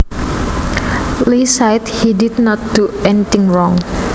Lee said he did not do anything wrong